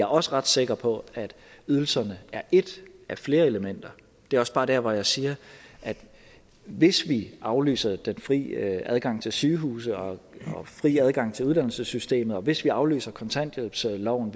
også ret sikker på at ydelserne er et af flere elementer det er også bare der hvor jeg siger at hvis vi aflyste den frie adgang til sygehuse og frie adgang til uddannelsessystemet og hvis vi aflyste kontanthjælpsloven